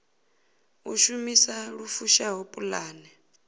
u shumisa lu fushaho pulane